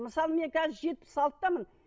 мысалы мен қазір жетпіс алтыдамын